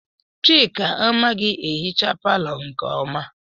Chika amaghị ehicha palọ nke ọma.